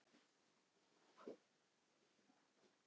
Var Víking Ó fórnað vegna peninga fyrir hin liðin?